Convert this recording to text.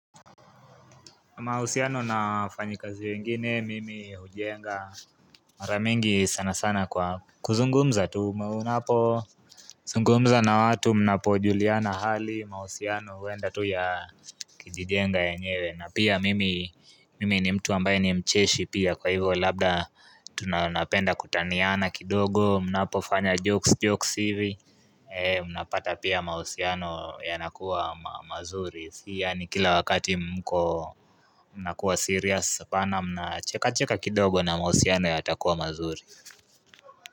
Mahusiano na wafanyikazi wengine mimi hujenga Mara mingi sana sana kwa kuzungumza tu maunapo zungumza na watu mnapojuliana hali mahusiano huenda tu ya Kijijenga yenyewe na pia mimi mimi ni mtu ambaye ni mcheshi pia kwa hivyo labda tuna napenda kutaniana kidogo mnapofanya jokes jokes hivi Unapata pia mahusiano yanakuwa mazuri si Yani kila wakati mko mnakuwa serious hapana mnacheka cheka kidogo na mahusiano yatakuwa mazuri.